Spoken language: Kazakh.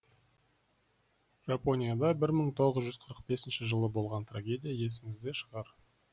жапонияда бір мың тоғыз жүз қырық бесінші жылы болған трагедия есіңізде шығар